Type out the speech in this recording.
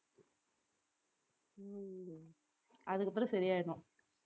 அதுக்கப்புறம் சரியாயிடும்